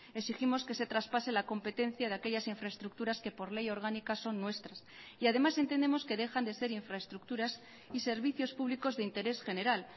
exigimos que se traspase la competencia de aquellas infraestructuras que por ley orgánica son nuestras y además entendemos que dejan de ser infraestructuras y servicios públicos de interés general